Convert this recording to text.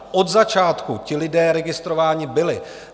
Od začátku ti lidé registrováni byli.